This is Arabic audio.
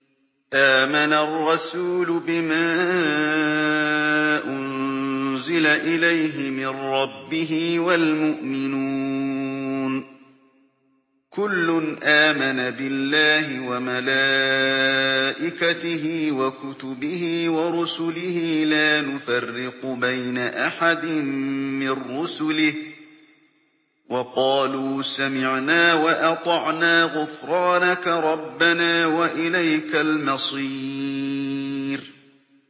آمَنَ الرَّسُولُ بِمَا أُنزِلَ إِلَيْهِ مِن رَّبِّهِ وَالْمُؤْمِنُونَ ۚ كُلٌّ آمَنَ بِاللَّهِ وَمَلَائِكَتِهِ وَكُتُبِهِ وَرُسُلِهِ لَا نُفَرِّقُ بَيْنَ أَحَدٍ مِّن رُّسُلِهِ ۚ وَقَالُوا سَمِعْنَا وَأَطَعْنَا ۖ غُفْرَانَكَ رَبَّنَا وَإِلَيْكَ الْمَصِيرُ